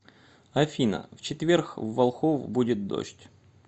афина в четверг в волхов будет дождь